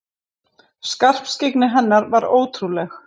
Skarpskyggni hennar var ótrúleg.